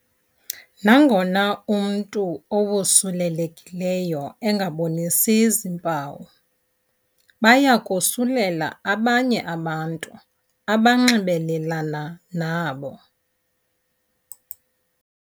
Nangona umntu owosulelekileyo engabonisi zimpawu, baya kosulela abanye abantu abanxibelelana nabo.